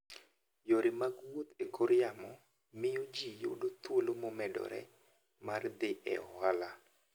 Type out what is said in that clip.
Yore mag wuoth e kor yamo miyo ji yudo thuolo momedore mar dhi e ohala.